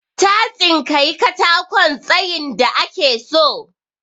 Ta tsinkayi katakon tsayin da ake so.